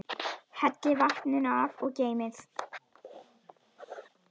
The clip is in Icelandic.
Hellið vatninu af og geymið.